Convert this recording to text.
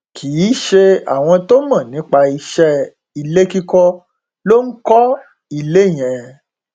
kì í ṣe àwọn tó mọ nípa iṣẹ ilé kíkọ ló ń kọ ilé ilé yẹn